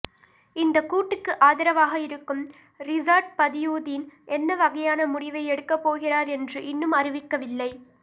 இந்தக் கூட்டுக்கு ஆதரவாக இருக்கும் றிஸாட் பதியுதீன் என்ன வகையான முடிவை எடுக்கப்போகிறார் என்று இன்னும் அறிவிக்கவில்லை